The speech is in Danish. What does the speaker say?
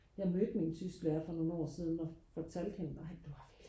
jeg mødte min tysklærer for nogle år siden og fortalte hende ej du har virkelig